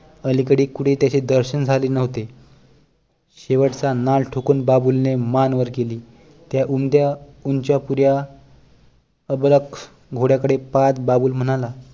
अलिकडे कुठे त्याचे दर्शन झाले नव्हते शेवटचा नाल ठोकत बाबूल ने मान वर केली त्या उमद्या ऊंच्यापुऱ्या अबलख घोड्या कडे पाहत बाबूल म्हणाला